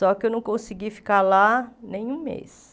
Só que eu não consegui ficar lá nem um mês.